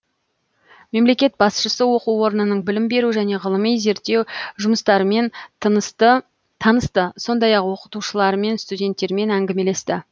мемлекет басшысы оқу орнының білім беру және ғылым зерттеу жұмыстарымен танысты сондай ақ оқытушылармен студенттермен әңгімелесті